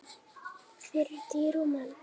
Hann hefur ekki jafnað sig.